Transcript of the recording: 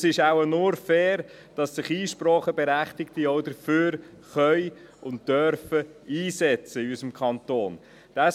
Es ist wohl nur fair, dass sich Einspracheberechtigte in unserem Kanton auch dafür einsetzen können und dürfen.